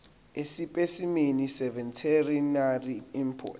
esipesimeni seveterinary import